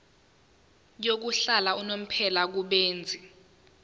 yokuhlala unomphela kubenzi